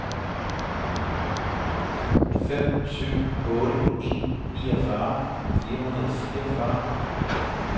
fem syv otte en niogfyrre fire hundrede og fireogfyrre